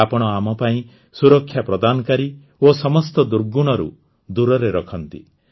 ଆପଣ ଆମ ପାଇଁ ସୁରକ୍ଷା ପ୍ରଦାନକାରୀ ଓ ସମସ୍ତ ଦୁର୍ଗୁଣରୁ ଦୂରରେ ରଖନ୍ତି